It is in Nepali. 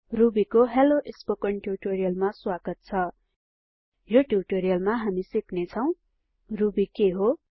रुबी को हेल्लो स्पोकन ट्यूटोरियलमा स्वागत छ यो ट्यूटोरियलमा हामी सिक्ने छौ रुबी के हो